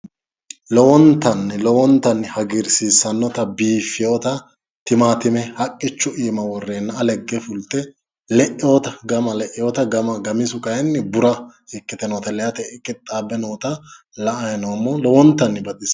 Lowontanni lowontanni hagirsiissannota biiffeyooota timaattime haqqichu iima worreenna ale higge fulte le'eyoota gama le'eyoota gamisu kayiinni bura ikite noota le"ate qixxaabe noota la"ayi noommo lowontanni baxisanno.